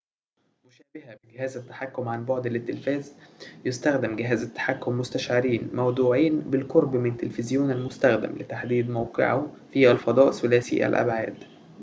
مشابهةً بجهاز التحكم عن بُعد للتلفاز يستخدم جهاز التحكم مستشعرين موضوعين بالقرب من تلفزيون المستخدم لتحديد موقعه في الفضاء ثلاثي الأبعاد